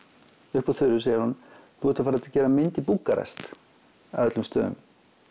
upp úr þurru segir hún þú ert að fara að gera mynd í Búkarest af öllum stöðum